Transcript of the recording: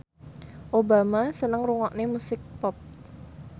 Obama seneng ngrungokne musik pop